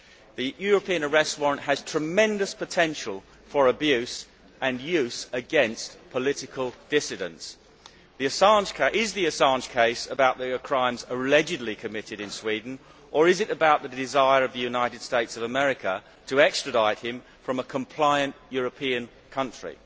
The European Arrest Warrant has tremendous potential for abuse and for use against political dissidents. Is the Assange case about the crimes allegedly committed in Sweden or is it about the desire of the United States of America to extradite him from a compliant European country?